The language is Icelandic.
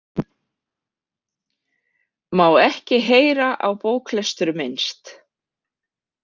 Má ekki heyra á bóklestur minnst.